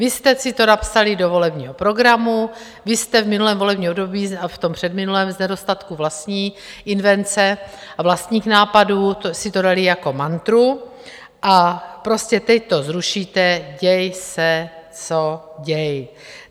Vy jste si to napsali do volebního programu, vy jste v minulém volebním období a v tom předminulém z nedostatku vlastní invence a vlastních nápadů si to dali jako mantru a prostě teď to zrušíte, děj se co děj.